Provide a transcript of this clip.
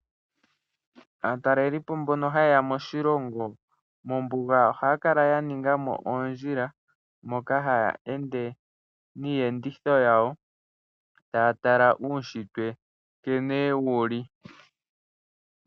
Aatalelipo mbono hayeya moshilongo mombunga oha ya kala ya ninga mo oondjila, moka haya ende niiyenditho yawo taya tala uushitwe nkene wuli.